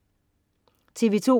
TV2: